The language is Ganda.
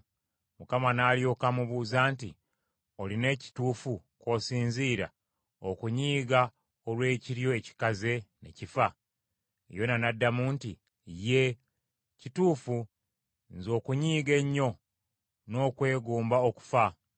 Mukama n’alyoka amubuuza nti, “Olina ekituufu kw’osinziira okunyiiga olw’ekiryo ekikaze ne kifa?” Yona n’addamu nti, “Yee, kituufu nze okunyiiga ennyo n’okwegomba okufa.”